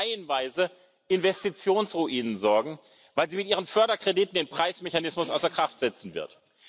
Sie wird reihenweise für Investitionsruinen sorgen, weil sie mit ihren Förderkrediten den Preismechanismus außer Kraft setzen wird.